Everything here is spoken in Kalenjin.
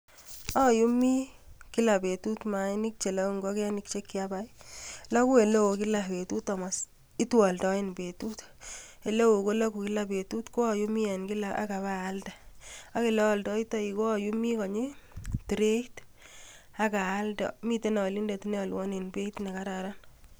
Ayumii kila betut mainik cheloguu ingogenik chekiabai, loguu koma kila betut kobaten itwoldoen betut, eleo koloogu kila betut ko ayumii en kila ak abaaldee ak yeoldoitoi ko ayumii konyii trait ak aalde. Miten alinde niolwon en beit nekararan